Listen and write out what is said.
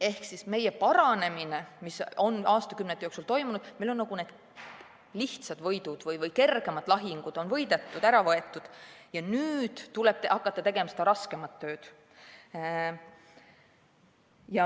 Ehk meie paranemine, mis on aastakümnete jooksul toimunud, tähendab, et meil on need kergemad lahingud võidetud ja nüüd tuleb hakata tegema seda raskemat tööd.